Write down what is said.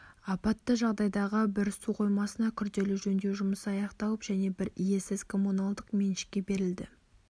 апатты жағдайдағы бір су қоймасына күрделі жөндеу жұмысы аяқталып және бір иесіз коммуналдық меншікке берілді